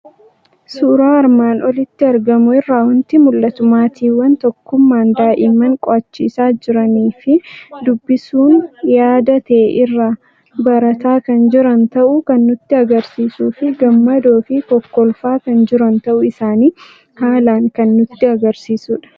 Suuraa armaan olitti argamu irraa waanti mul'atu; maatiwwan tokkummaan daa'immaan qo'achiisa jiranifi dubbisuun yaada ta'e irraa barataa kan jiran ta'uu kan nutti agarsiisufi gammadoofi kokkolfaa kan jiran ta'uu isaani haalan kan nutti agarsiisudha.